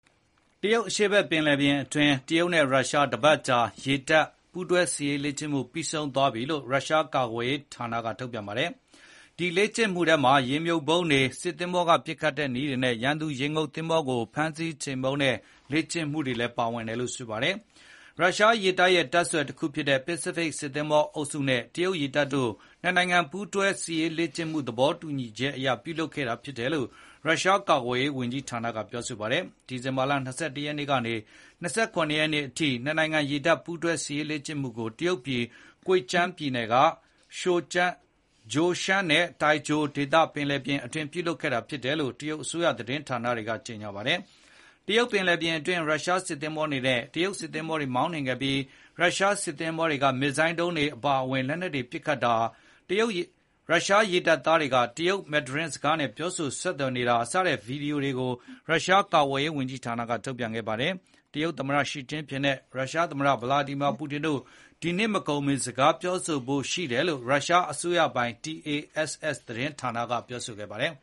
တရုတ်အရှေ့ဖက် ပင်လယ်ပြင်အတွင်း တရုတ်နဲ့ရုရှား တပတ်အကြာ ရေတပ်ပူးတွဲ စစ်ရေးလေ့ကျင့်မှု ပြီးဆုံးသွားပြီလို့ ရုရှားကာကွယ်ရေးဝန်ကြီးဌာနက ထုတ်ပြန်ပါတယ်။ ဒီလေ့ကျင့်မှုထဲမှာ ရေမြှုပ်ဗုံးတွေ၊ စစ်သင်္ဘောက ပစ်ခတ်တဲ့ နည်းတွေနဲ့ ရန်သူ့ ရေငုပ်သင်္ဘောကို ဖမ်းဆီးချေမှုန်းတဲ့ လေ့ကျင့်မှုတွေလည်း ပါဝင်တယ်လို့ ဆိုပါတယ်။ ရုရှားရေတပ်ရဲ့ တပ်ဆွယ်တခုဖြစ်တဲ့ ပစိဖိတ် စစ်သင်္ဘောအုပ်စုနဲ့ တရုတ်ရေတပ်တို့ နှစ်နိုင်ငံ ရေတပ်ပူးတွဲစစ်ရေး လေ့ကျင့်မှု သဘောတူညီချက် အရ ပြုလုပ်ခဲ့တာ ဖြစ်တယ်လို့ ရုရှားကာကွယ်ရေး ဝန်ကြီးဌာနက ပြောဆိုပါတယ်။ ဒီဇင်ဘာလ ၂၁ ရက်နေ့ကနေ ၂၇ ရက်နေ့ အထ နှစ်နိုင်ငံ ရေတပ်ပူးတွဲစစ်ရေးလေ့ကျင့်မှုကို တရုတ်ပြည် Zhejiang ပြည်နယ်က Zhoushan နဲ့ Taizhou ဒေသက ပင်လယ်ပြင်အတွင်း ပြုလုပ်ခဲ့တာဖြစ်တယ်လို့ တရုတ်အစိုးရ သတင်းဌာန တွေကလည်း ကြေညာပါတယ်။ တရုတ်ပင်လယ်ပြင်အတွင်း ရုရှားစစ်သင်္ဘောတွေနဲ့ တရုတ်စစ်သင်္ဘောတွေ မောင်းနှင်ခဲ့ပြီး ရုရှားစစ်သင်္ဘောတွေက မစ်ဇိုင်းဒုံးတွေ အပါအဝင် လက်နက်တွေ ပစ်ခတ်တာ၊ ရုရှားရေတပ်သားတွေက တရုတ် မန်ဒရင်း ဘာသာစကားနဲ့ပြောဆို ဆက်သွယ်နေတဲ့ ဗွီဒီယိုကို ရုရှားကာကွယ်ရေး ဝန်ကြီးဌာနက ထုတ်ပြန်ခဲ့ပါတယ်။ တရုတ်သမ္မတ Xi Jinping နဲ့ ရုရှား သမ္မတ Vladimir Putin တို့ ဒီနှစ်မကုန်မီ စကားပြောဆိုဖို့ ရှိတယ်လို့ ရုရှားအစိုးရပိုင် TASS သတင်းဌာနက ပြောဆိုခဲ့ပါတယ်